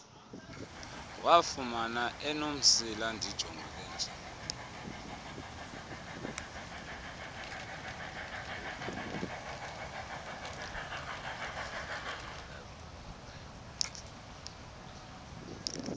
wafumana enomsila ndijongile